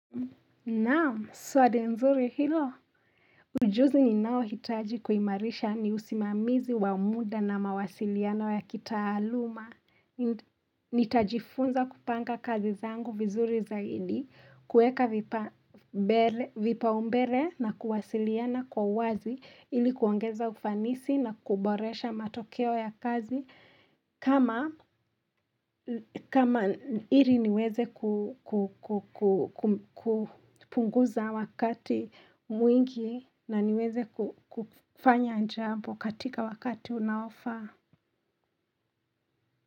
Nao, swali nzuri hilo. Ujuzi ni nao hitaji kuhimarisha ni usimamizi wamuda na mawasiliano ya kita aluma. Nitajifunza kupanga kazi zangu vizuri za hili, kueka vipa umbele na kuwasiliana kwa wazi, ilikuongeza ufanisi na kuboresha matokeo ya kazi. Kama ili niweze kupunguza wakati mwingi na niweze kufanya jambo katika wakati unaofaa.